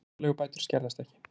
Húsaleigubætur skerðast ekki